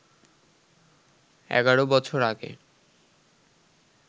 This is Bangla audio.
এগারো বছর আগে